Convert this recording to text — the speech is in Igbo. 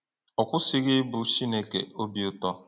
Ọ kwụsịghị ịbụ “Chineke obi ụtọ.”